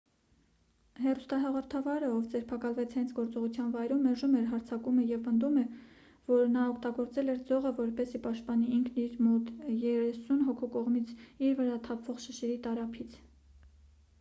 հեռուստահաղորդավարը ով ձերբակալվեց հենց գործողության վայրում մերժում էր հարձակումը և պնդում որ նա օգտագործել էր ձողը որպեսզի պաշտպանի ինքն իրեն մոտ երեսուն հոգու կողմից իր վրա թափվող շշերի տարափից